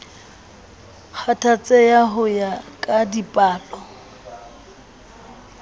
kgathatseha ho ya ka dipalo